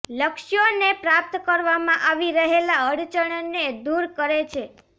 લક્ષ્યોને પ્રાપ્ત કરવામાં આવી રહેલા અડચણને દૂર કરે છે